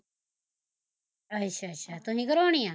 ਅੱਛਾ ਅੱਛਾ ਤੁਸੀਂ ਕਰਉਣੀ ਆ